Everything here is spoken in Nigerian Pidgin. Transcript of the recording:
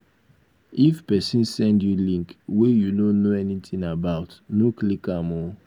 if pesin send you link wey you no know anything about no click am oo.